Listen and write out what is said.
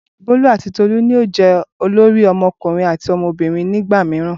Bolu ati Tolu yoo jẹ olori ọmọkunrin ati ọmọbirin ni igba miiran.